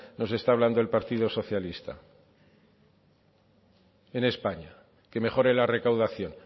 nos está hablando el partido socialista en españa que mejore la recaudación